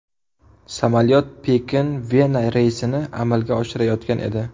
Samolyot Pekin–Vena reysini amalga oshirayotgan edi.